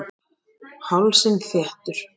Hálsinn þéttur.